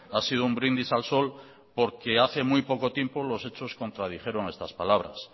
ha sido un brindis al sol porque hace muy poco tiempo los hechos contradijeron estas palabras